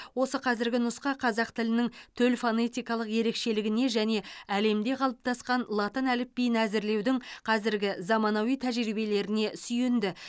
осы қазіргі нұсқа қазақ тілінің төл фонетикалық ерекшелігіне және әлемде қалыптасқан латын әліпбиін әзірлеудің қазіргі заманауи тәжірибелеріне сүйенді